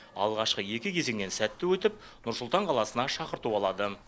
алғашқы екі кезеңнен сәтті өтіп нұр сұлтан қаласына шақырту алады